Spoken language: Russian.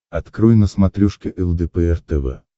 открой на смотрешке лдпр тв